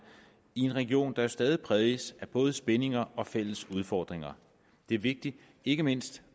i en region der jo stadig præges af både spændinger og fælles udfordringer det er vigtigt ikke mindst